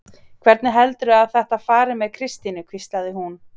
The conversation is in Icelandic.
Hvernig heldurðu að þetta fari með Kristínu? hvíslaði hún.